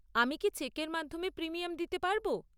আমি কি চেকের মাধ্যমে প্রিমিয়াম দিতে পারব?